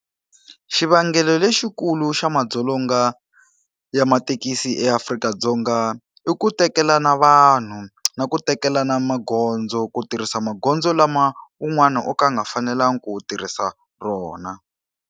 Xivangelo lexikulu xa madzolonga ya mathekisi eAfrika-Dzonga i ku tekela na vanhu, na ku tekela na magondzo. Ku tirhisa magondzo lama un'wana o ka a nga fanelangi ku u tirhisa rona.